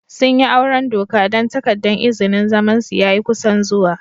Sun yi auren doka dan takadan izinin zaman su ya yi kusan zuwa.